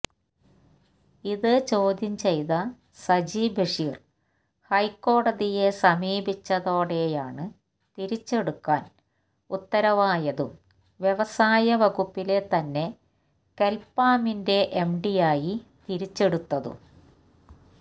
ഇത് ചോദ്യം ചെയ്ത് സജി ബഷീര് ഹൈക്കോടതിയെ സമീപിച്ചതോടെയാണ് തിരിച്ചെടുക്കാന് ഉത്തരവായതും വ്യവസായ വകുപ്പിലെ തന്നെ കെല്പാമിന്റെ എംഡിയായി തിരിച്ചെടുത്തതും